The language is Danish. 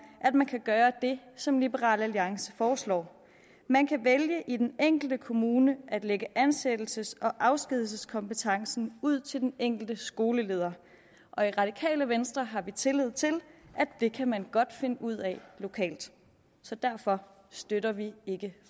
at man kan gøre det som liberal alliance foreslår man kan vælge i den enkelte kommune at lægge ansættelses og afskedigelseskompetencen ud til den enkelte skoleleder og i radikale venstre har vi tillid til at det kan man godt finde ud af lokalt så derfor støtter vi ikke